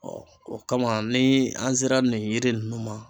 o kama ni an sera nin yiri nunnu ma